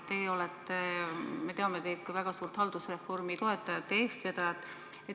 Me teame kõik teid kui väga suurt haldusreformi toetajate eestvedajat.